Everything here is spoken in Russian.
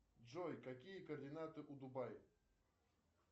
джой какие координаты у дубай